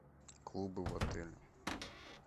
клубы в отеле